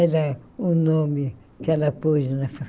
Era o nome que ela pôs na